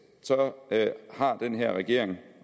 så har den her regering